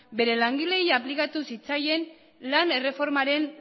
bere langileei aplikatu zitzaien lan erreformaren